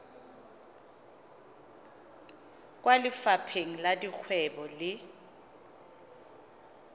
kwa lefapheng la dikgwebo le